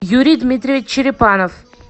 юрий дмитриевич черепанов